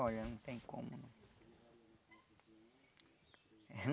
Olha, não tem como.